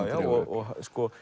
já og